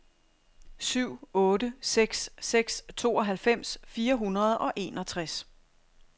syv otte seks seks tooghalvfems fire hundrede og enogtres